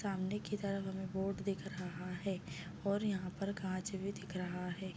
सामने के तरफ बोर्ड दिख रहा है और यहां पर कांच भी दिख रहा है।